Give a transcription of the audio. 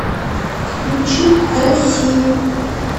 включи россию